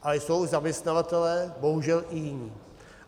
Ale jsou zaměstnavatelé, bohužel i jiní.